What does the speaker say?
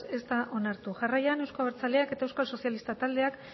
ez da onartu jarraian euzko abertzaleak eta euskal sozialistak taldeak